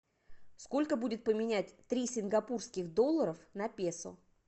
сколько будет поменять три сингапурских долларов на песо